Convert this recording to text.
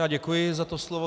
Já děkuji za to slovo.